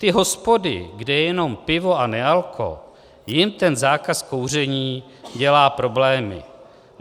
"Ty hospody, kde je jenom pivo a nealko, jim ten zákaz kouření dělá problémy.